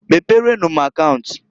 Meprenu m akaunt.